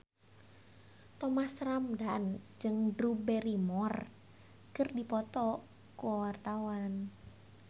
Thomas Ramdhan jeung Drew Barrymore keur dipoto ku wartawan